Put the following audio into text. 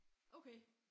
Okay